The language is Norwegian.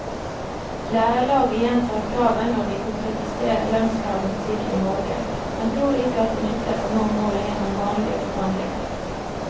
Lærerlaget gjentar kravet når de konkretiserer lønnskravene sine i morgen, men tror ikke at det nytter å nå målet gjennom vanlige forhandlinger.